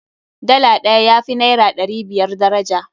Dala ɗaya ya fi naira ɗari biyar daraja.